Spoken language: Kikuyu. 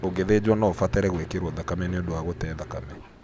Ũgĩthĩnjwo no ũbatare gwĩkĩro thakame nĩũndũ wa gũte thakame.